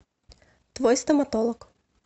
твой стоматолог